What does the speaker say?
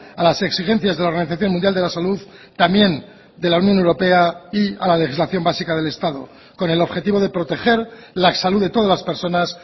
a las exigencias de la organización mundial de la salud también de la unión europea y a la legislación básica del estado con el objetivo de proteger la salud de todas las personas